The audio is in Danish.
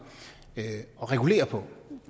at regulere